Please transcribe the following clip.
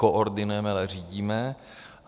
Nekoordinujeme, ale řídíme.